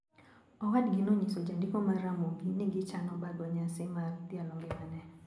Owadgi nonyiso Jandiko mar Ramogi ni gichano bago nyasi mar dhialo ngimane.